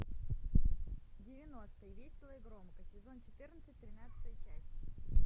девяностые весело и громко сезон четырнадцать тринадцатая часть